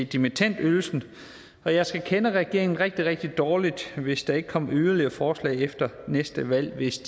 dimittendydelsen og jeg skal kende regeringen rigtig rigtig dårligt hvis der ikke kommer yderligere forslag efter næste valg hvis